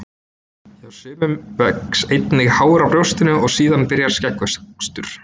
Hjá sumum vex einnig hár á brjóstinu og síðan byrjar skeggvöxtur.